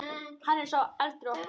Hann er sá eldri okkar.